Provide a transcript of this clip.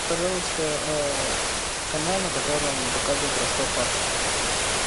пожалуйста канал на котором показывают ростов папа